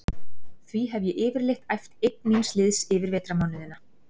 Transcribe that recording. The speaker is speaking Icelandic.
Því hef ég yfirleitt æft einn míns liðs yfir vetrarmánuðina.